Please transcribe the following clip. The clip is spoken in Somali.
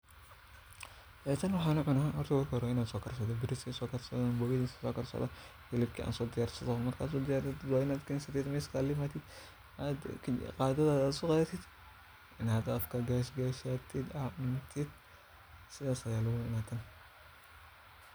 Ee tan waxan u cuna marki u hore wa in a bariska karsadho maraqa karsatid sas ayan u cuñta tan anigana wan jeclahay